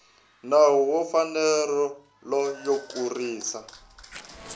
nawu wa mfanelo yo kurisa